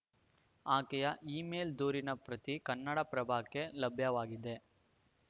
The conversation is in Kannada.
ಆಕೆಯ ಇಮೇಲ್‌ ದೂರಿನ ಪ್ರತಿ ಕನ್ನಡಪ್ರಭಕ್ಕೆ ಲಭ್ಯವಾಗಿದೆ